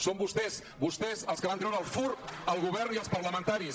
són vostès vostès els que van treure el fur al govern i als parlamentaris